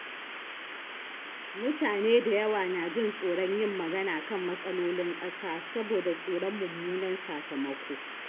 Mutane da yawa na jin tsoron yin magana kan matsalolin ƙasa saboda tsoron mummunan sakamako.